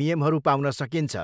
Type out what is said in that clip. नियमहरू पाउन सकिन्छ।